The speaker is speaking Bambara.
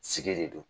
Sigi de don